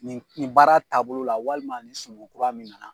Nin nin baara taabolo la walima nin sumu kura min na na.